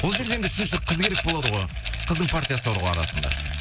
ол жерде енді үшінші қыз керек болады ғой қыздың партиясы бар ғой арасында